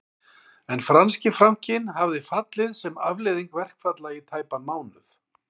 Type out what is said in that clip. En franski frankinn hafði fallið sem afleiðing verkfalla í tæpan mánuð